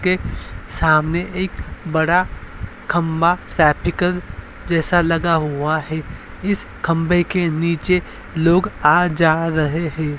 के सामने एक बड़ा खम्भा जैसा लगा हुवा है। इस खम्भे के नीचे लोग आ जा रहे हैं।